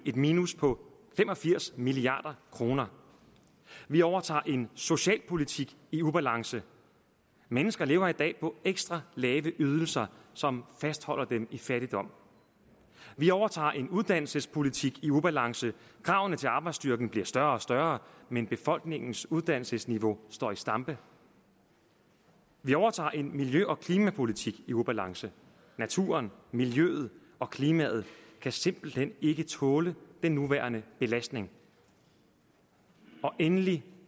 minus på fem og firs milliard kroner vi overtager en socialpolitik i ubalance mennesker lever i dag på ekstra lave ydelser som fastholder dem i fattigdom vi overtager en uddannelsespolitik i ubalance kravene til arbejdsstyrken bliver større og større men befolkningens uddannelsesniveau står i stampe vi overtager en miljø og klimapolitik i ubalance naturen miljøet og klimaet kan simpelt hen ikke tåle den nuværende belastning og endelig